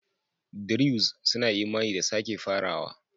Druze suna imani da sake farawa.